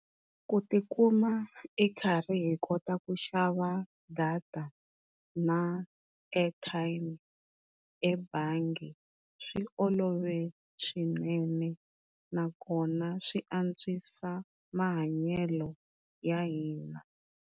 Ku tikuma i karhi hi kota ku xava data na airtime ebangi swi olove swinene na kona swi antswisa mahanyelo ya hina.